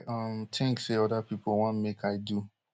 i um tink say oda people wan make i do